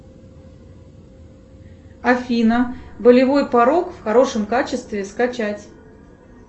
афина болевой порог в хорошем качестве скачать